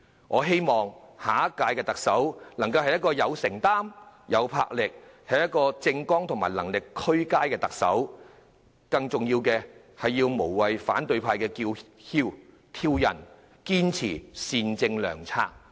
我希望下任特首是一個有承擔、有魄力的人，是一位政綱和能力俱佳的特首，更重要的是要無懼反對派的叫囂和挑釁，堅持善政良策。